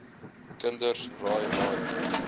kinders raai raai